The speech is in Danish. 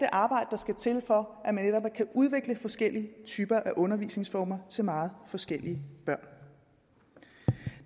arbejde der skal til for at man netop kan udvikle forskellige typer af undervisningsformer til meget forskellige børn